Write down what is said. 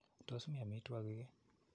Tos mi amitwogik ii?